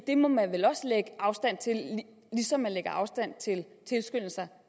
det må man vel også lægge afstand til ligesom man lægger afstand til tilskyndelse